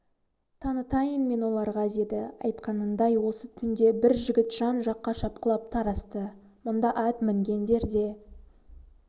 танытайын мен оларға деді айтқанындай осы түнде бар жігіт жан-жаққа шапқылап тарасты мұнда ат мінгендер де